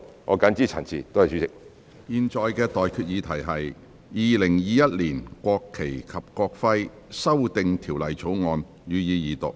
我現在向各位提出的待決議題是：《2021年國旗及國徽條例草案》，予以二讀。